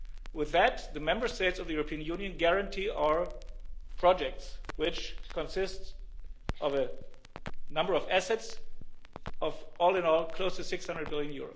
With that, the Member States of the European Union guarantee our projects, which consist of a number of assets of, all in all, close to EUR 600 billion.